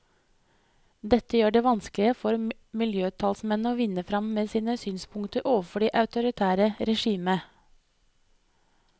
Dette gjør det vanskeligere for miljøtalsmennene å vinne frem med sine synspunkter overfor det autoritære regimet.